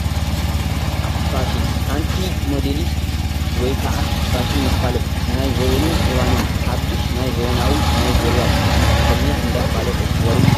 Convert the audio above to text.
ፋሽን፡- ሓንቲ ሞዴሊስት ወይ ከዓ ፋሽን መፋለጢት ናይቲ ዘበንን እዋንን ሓዱሽ ናይ ዘበናዊ ናይ ዙርያ ቅዲ ተኸዲና እንዳፋለጠት ዘርኢ እዩ፡፡